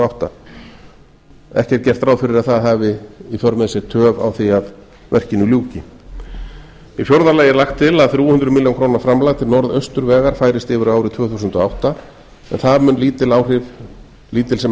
átta ekki er gert ráð fyrir að það hafi í för með sér töf á því að verkinu ljúki í fjórða lagi er lagt til að þrjú hundruð milljóna króna framlag til norðausturvegar færist yfir á árið tvö þúsund og átta en það mun lítil sem